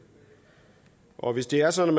og hvis det er sådan